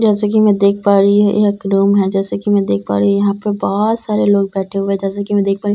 जैसे की मैं देख पा रही हूँ यह एक रूम है जैसे की मैं देख पा रही यहाँ पर बहोत सारे लोग बैठे हुए हैं जैसे की मैं देख पा रही --